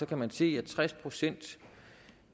kan man se at tres procent